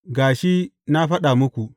Ga shi na faɗa muku.